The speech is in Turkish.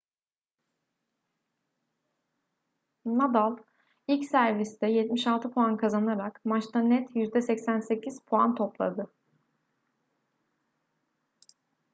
nadal ilk serviste 76 puan kazanarak maçta net %88 puan topladı